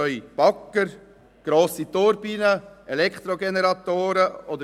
Das können Bagger, grosse Turbinen oder Elektrogeneratoren sein.